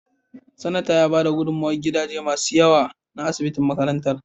Sanatan ya bada gudummawar gadaje masu yawa na asibitin makarantar.